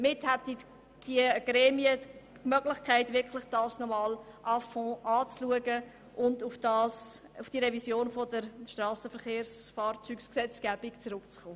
Damit hätten die zuständigen Gremien nochmals Zeit, das Geschäft à fond zu prüfen und auf die Revision der Strassengesetzgebung zurückzukommen.